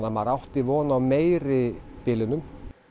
maður átti von á meiri bilunum